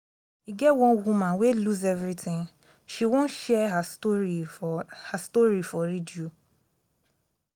e get one woman wey lose everything she wan share her story for her story for radio